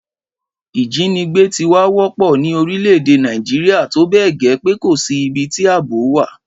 Ìjínigbé ti wá wọ́pọ̀ ní orílẹ̀-èdè Nàìjíríà tó bẹ́ẹ̀ gẹ́ pé kò sí ibi tí àbò wà